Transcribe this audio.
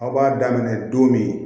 Aw b'a daminɛ don min